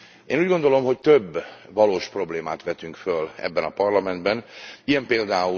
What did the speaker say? Én úgy gondolom, hogy több valós problémát vetünk föl ebben a parlamentben, ilyen pl.